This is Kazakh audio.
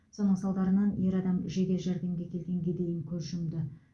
соның салдарынан ер адам жедел жәрдемге келгенге дейін көз жұмды